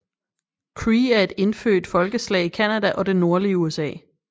Cree er et indfødt folkeslag i Canada og det nordlige USA